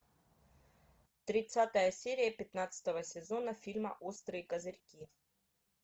тридцатая серия пятнадцатого сезона фильма острые козырьки